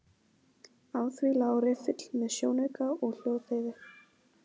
Á því lá riffill með sjónauka og hljóðdeyfi.